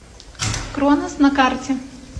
кронос на карте